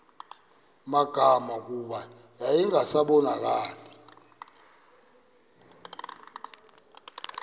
magama kuba yayingasabonakali